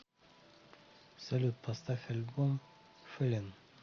салют поставь альбом фэллен